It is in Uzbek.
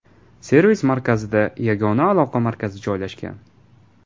Servis-markazida yagona aloqa markazi joylashgan.